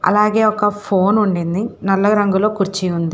అలాగే ఒక ఫోన్ ఉండింది నల్ల రంగలో కుర్చీ ఉంది.